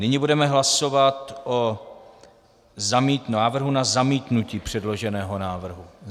Nyní budeme hlasovat o návrhu na zamítnutí předloženého návrhu.